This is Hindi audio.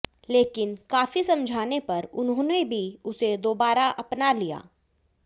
लेकिन काफी समझाने पर उन्होंने भी उसे दोबारा अपना लिया